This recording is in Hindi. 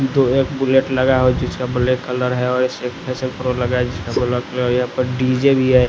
दो एक बुलेट लगा हो जिसका ब्लैक कलर है और स्पेशल प्रो लगा है जिसका यहां पर डी_जे भी है।